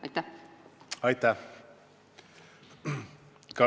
Aitäh!